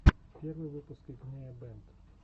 первый выпуск игнея бэнд